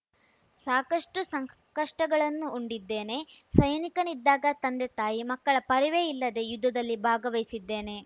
ಸಾಕಷ್ಟುಸಂಕಷ್ಟಗಳನ್ನೂ ಉಂಡಿದ್ದೇನೆ ಸೈನಿಕನಿದ್ದಾಗ ತಂದೆತಾಯಿ ಮಕ್ಕಳ ಪರಿವೇ ಇಲ್ಲದೇ ಯುದ್ಧದಲ್ಲಿ ಭಾಗವಹಿಸಿದ್ದೇನೆ